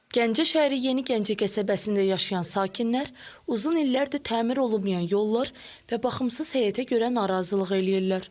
Gəncə şəhəri Yeni Gəncə qəsəbəsində yaşayan sakinlər uzun illərdir təmir olunmayan yollar və baxımsız həyətə görə narazılıq eləyirlər.